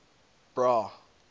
bra